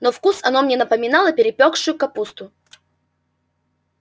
на вкус оно напоминало перепревшую капусту